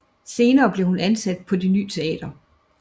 Senere blev hun ansat på Det ny Teater